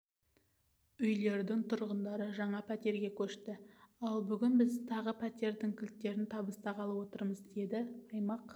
үйлердің тұрғындары жаңа пәтерге көшті ал бүгін біз тағы пәтердің кілттерін табыстағалы отырмыз деді аймақ